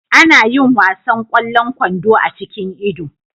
Ana yin wasan ƙwallon kwando a cikin Ido.